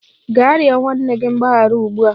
Gaa rịọ nwanne gị mgbaghara ugbu a!